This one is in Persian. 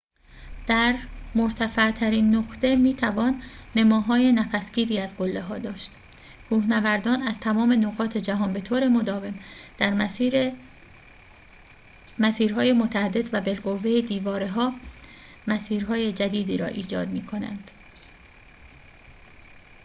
در مرتفع‌ترین نقطه می‌توان نماهای نفس‌گیری از قله‌ها داشت کوهنوردان از تمام نقاط جهان به طور مداوم در میان مسیر‌های متعدد و بالقوه دیواره‌ها مسیرهای جدیدی را ایحاد می‌کنند